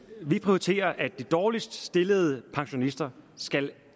vi prioriterer at de dårligst stillede pensionister